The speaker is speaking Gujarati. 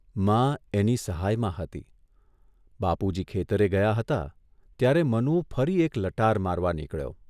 મા એની સહાયમાં હતી, બાપુજી ખેતરે ગયા હતા ત્યારે મનુ ફરી એક લટાર મારવા નીકળ્યો.